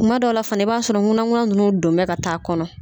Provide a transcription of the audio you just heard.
Kuma dɔw la fɛnɛ i b'a sɔrɔ ŋunanŋunan nunnu donnen bɛ ka taa kɔnɔ.